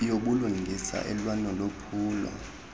yobulungisa elwa nolwaphulo